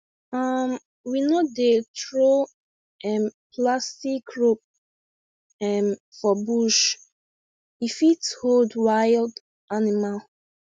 um we no dey throw um plastic rope um for bush e fit hold wild animal